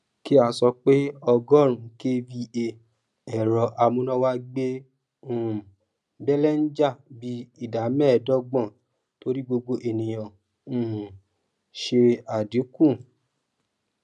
kí a sọ pé ọgórùnún kva èrọ amúnáwá gbé um belenja bí ìdá méèdógbòn torí gbogbo ènìyàn um ṣe àdínkù